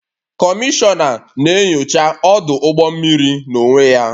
Kọmishọna na-enyocha ọdụ ụgbọ mmiri n'onwe ya